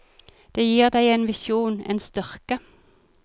Det gir deg en visjon, en styrke.